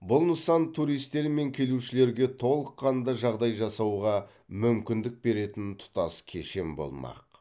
бұл нысан туристер мен келушілерге толыққанды жағдай жасауға мүмкіндік беретін тұтас кешен болмақ